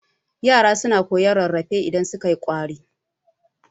yara suna rarrafe idan sukai kwari